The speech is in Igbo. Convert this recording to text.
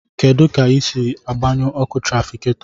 Kedu ka ị ga-esi gbanye ọkụ tràfikáto